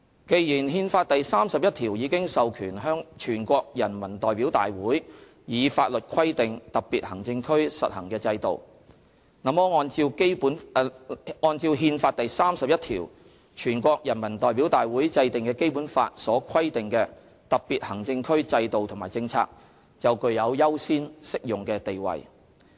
既然《憲法》第三十一條已經授權全國人民代表大會以法律規定特別行政區實行的制度，那麼按照《憲法》第三十一條，全國人民代表大會制定的《基本法》所規定的特別行政區制度和政策，就具有優先適用的地位。